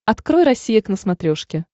открой россия к на смотрешке